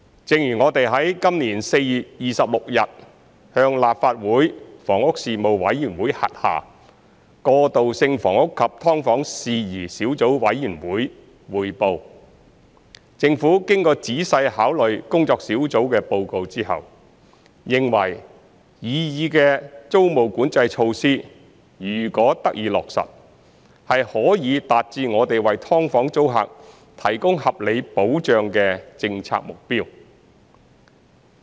正如我們於今年4月26日向立法會房屋事務委員會轄下過渡性房屋及劏房事宜小組委員會匯報，政府經過仔細考慮工作小組的報告之後，認為擬議的租務管制措施如果得以落實，是可以達致我們為"劏房"租客提供合理保障的政策目標。